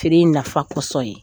Feere in nafa kɔsɔn ye.